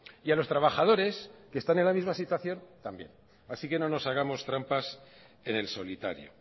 y a los trabajadores que están en la misma situación también así que no nos hagamos trampas en el solitario